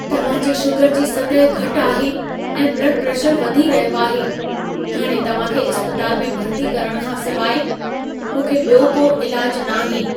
तव्हां जे शुगर जी सतह घटि आहे ऐं ब्लड प्रेशरु वधी रहियो आहे। हाणे तव्हां खे इस्पताल में भर्ती करण खां सिवाए, मूंखे ॿियो को इलाजु नाहे।